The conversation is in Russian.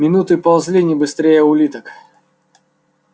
минуты ползли не быстрее улиток